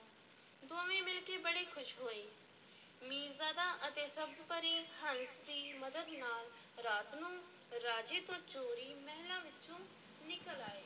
ਦੋਵੇਂ ਮਿਲ ਕੇ ਬੜੇ ਖ਼ੁਸ਼ ਹੋਏ, ਮੀਰਜ਼ਾਦਾ ਅਤੇ ਸਬਜ਼-ਪਰੀ ਹੰਸ ਦੀ ਮਦਦ ਨਾਲ ਰਾਤ ਨੂੰ ਰਾਜੇ ਤੋਂ ਚੋਰੀ, ਮਹਿਲਾਂ ਵਿੱਚੋਂ ਨਿਕਲ ਆਏ।